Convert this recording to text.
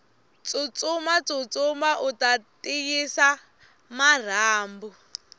tsutsuma tsutsuma uta tiyisa marhambu